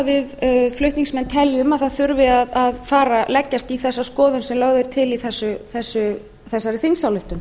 við flutningsmenn teljum að það þurfi að fara að leggjast í þessa skoðun sem lögð er til í þessari þingsályktun